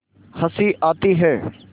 हँसी आती है